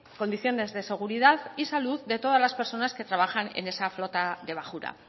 condiciones de seguridad y salud de todas las personas que trabajan en esa flota de bajura